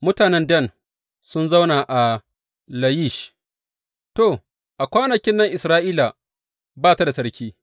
Mutanen Dan sun zauna a Layish To, a kwanakin nan Isra’ila ba ta da sarki.